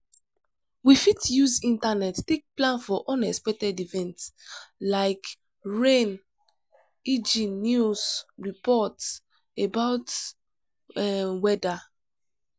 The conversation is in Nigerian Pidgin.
we fit use internet take plan for unexpected event like rain eg news report about weather